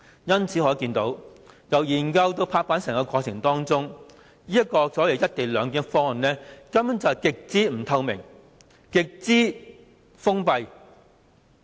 由此可見，由研究至拍板的整個過程中，這個所謂"一地兩檢"的方案根本是極不透明、極封閉的。